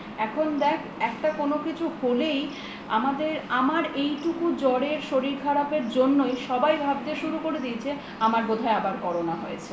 এখন দেখ একটা কোনো কিছু হলেই আমার এইটুকু জ্বরের শরীর খারাপের জন্যই সবাই ভাবতে শুরু করে দিয়েছে আমার বোধ হয় আবার corona হয়েছে